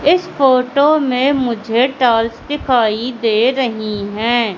इस फोटो में मुझे टाइल्स दिखाई दे रही है।